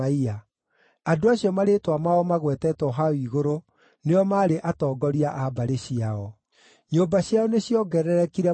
Andũ acio marĩĩtwa mao magwetetwo hau igũrũ nĩo maarĩ atongoria a mbarĩ ciao. Nyũmba ciao nĩciongererekire mũno,